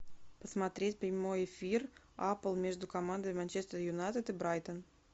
посмотреть прямой эфир апл между командами манчестер юнайтед и брайтон